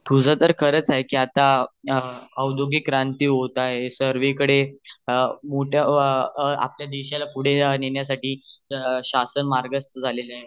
तुझह तर खरच आहे आता औद्योगिक क्रांती होत आहे सर्वी कडे मोठ आपल्या देशाला पुढे नेण्या साठी `शासन मार्गस्त आले आहेत